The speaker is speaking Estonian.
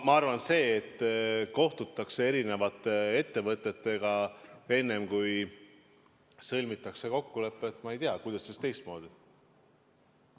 Ma arvan, et see, et kohtutakse erinevate ettevõtetega, enne kui sõlmitakse kokkulepe – ma ei tea, kuidas see teistmoodi saakski olla?